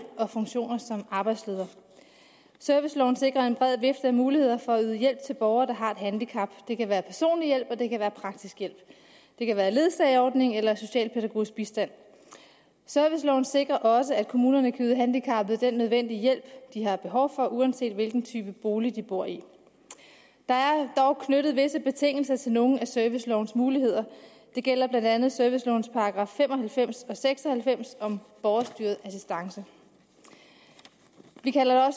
og funktioner som arbejdsleder serviceloven sikrer en bred vifte af muligheder for at yde hjælp til borgere der har et handicap det kan være personlig hjælp og det kan være praktisk hjælp det kan være ledsageordning eller socialpædagogisk bistand serviceloven sikrer også at kommunerne kan yde handicappede den nødvendige hjælp de har behov for uanset hvilken type bolig de bor i der er dog knyttet visse betingelser til nogle af servicelovens muligheder det gælder blandt andet servicelovens § fem og halvfems og § seks og halvfems om borgerstyret assistance vi kalder